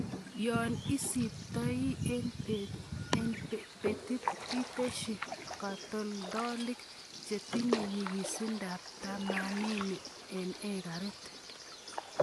Yon isiptoi en betit itesyi katoltolik chetinye nyikisindab tamanini en ekarit.